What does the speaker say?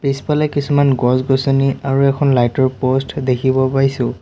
পিছফালে কিছুমান গছ-গছনি আৰু এখন লাইট ৰ প'ষ্ট দেখিব পাইছোঁ।